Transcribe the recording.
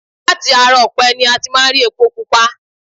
Láti ara ọ̀pẹ ni a ti máa ń rí epo pupa